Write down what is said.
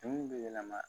Bin bɛ yɛlɛma